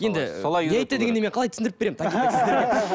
енді не айтты дегенді мен қалай түсіндіріп беремін